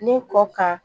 Ne kɔ kan